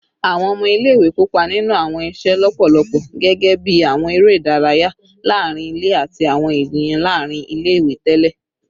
Awọn ọmọ ile-iwe kopa ninu awọn iṣe lọpọlọpọ gẹgẹbi awọn ere idaraya laarin ile ati awọn ijiyan laarin ile-iwe tẹlẹ